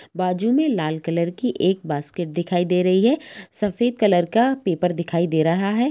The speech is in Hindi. बाजू में लाल कलर की एक बास्केट दिखाई दे रही हैं सफेद कलर का पेपर दिखाई दे रहा है।